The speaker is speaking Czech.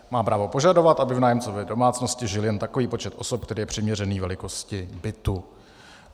Má právo požadovat, aby v nájemcově domácnosti žil jen takový počet osob, který je přiměřený velikosti bytu."